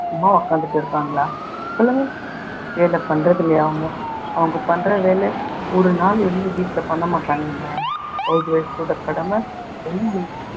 சும்மா உக்காந்துட்டு இருக்காங்களா சொல்லுங்க, வேலை பண்றதுலயாவும் அவங்க பண்ற வேலை ஒரு நாள் இருந்து வீட்டுல பண்ண மாட்டாங்கங்க. house wife ஓட கடமை அவ்ளோ இருக்கு.